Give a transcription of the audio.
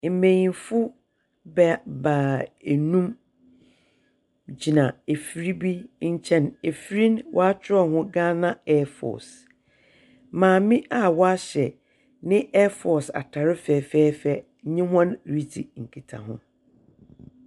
Mmanyinfo baanum gyina efiri bi nkyɛn. Efiri no wakyerɛw ho 'Ghana Air Force'. Maame a wahyɛ ne 'Air Force' atar fɛfɛɛfɛ nye wɔn redzi nkitaho.